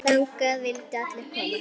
Þangað vildu allir koma.